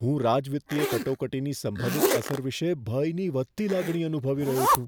હું રાજવિત્તીય કટોકટીની સંભવિત અસર વિશે ભયની વધતી લાગણી અનુભવી રહ્યો છું.